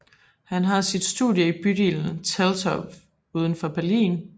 Han har sit studie i bydelen Teltow udenfor Berlin